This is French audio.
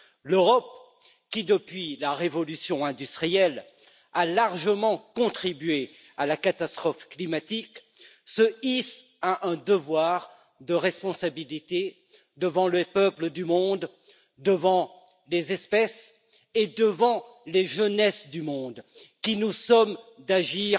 L'Europe qui, depuis la révolution industrielle, a largement contribué à la catastrophe climatique se hisse à un devoir de responsabilité devant les peuples du monde, devant les espèces et devant les jeunes du monde qui nous somment d'agir